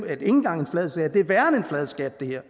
er ikke engang en flad skat det her